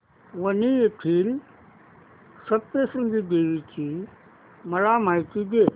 वणी येथील सप्तशृंगी देवी ची मला माहिती दे